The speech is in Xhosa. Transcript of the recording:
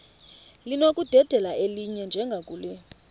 linokudedela elinye njengakule